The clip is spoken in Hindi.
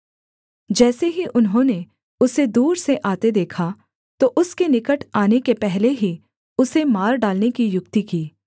जैसे ही उन्होंने उसे दूर से आते देखा तो उसके निकट आने के पहले ही उसे मार डालने की युक्ति की